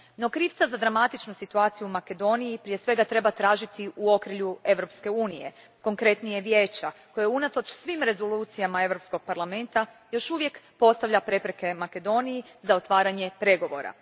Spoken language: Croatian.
No, krivca za dramatičnu situaciju u Makedoniji prije svega treba tražiti u okrilju EU a, konkretnije Vijeća, koje unatoč svim rezolucijama Europskog parlamenta još uvijek postavlja prepreke Makedoniji za otvaranje pregovora.